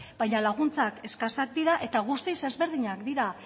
baina laguntzak eskasak dira eta guztiz desberdinak dira